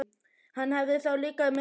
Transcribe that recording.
Hann hefði þá líka komið með þeim.